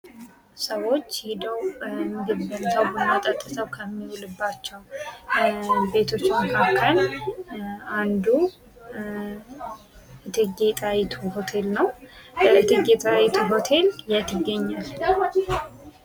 ሰዎች ሄደው ምግብ በልተው ቡና ጠጥተው ከሚውልባቸው ቤቶች መካከል አንዱ እቴጌ ጣይቱ ሆቴል ነው። እቴጌ ጣይቱ ሆቴል የት ይገኛል።